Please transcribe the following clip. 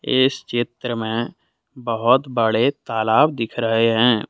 इस चित्र में बहुत बड़े तालाब दिख रहे हैं।